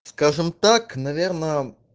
скажем так наверное